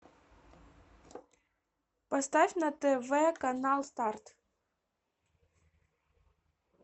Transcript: поставь на тв канал старт